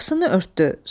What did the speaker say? Qapısını örtdü.